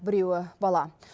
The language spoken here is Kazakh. біреуі бала